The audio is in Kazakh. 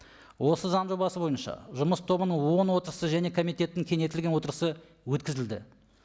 осы заң жобасы бойынша жұмыс тобының он отырысы және комитеттің кеңейтілген отырысы өткізілді